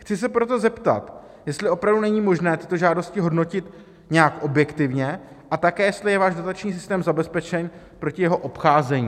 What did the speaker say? Chci se proto zeptat, jestli opravdu není možné tyto žádosti hodnotit nějak objektivně, a také jestli je váš dotační systém zabezpečen proti jeho obcházení.